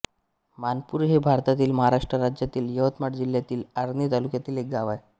मानपूर हे भारतातील महाराष्ट्र राज्यातील यवतमाळ जिल्ह्यातील आर्णी तालुक्यातील एक गाव आहे